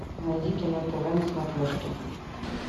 найди кино тв на смотрешке